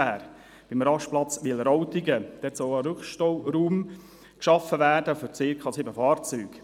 Beim Rastplatz Wileroltigen soll ein Rückstauraum für circa sieben Fahrzeuge geschaffen werden.